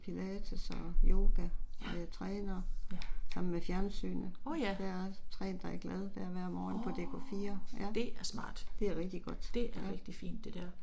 Ja, ja. Åh ja. Åh, det er smart. Det er rigtig fint det der